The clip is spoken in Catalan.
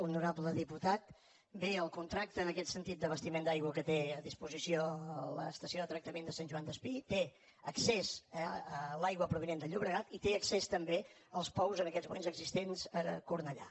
honorable diputat bé el contracte en aquest sentit d’abastiment d’aigua que té a disposició l’estació de tractament de sant joan despí té accés a l’aigua provinent del llobregat i té accés també als pous en aquests moments existents a cornellà